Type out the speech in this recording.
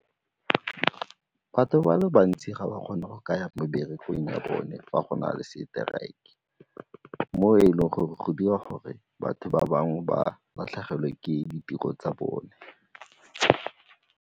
Batho ba le bantsi ga ba kgone go ka ya meberekong ya bone fa go na le seteraeke mo e leng gore go dira gore batho ba bangwe ba latlhegelwe ke ditiro tsa bone.